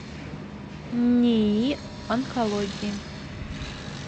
нии онкологии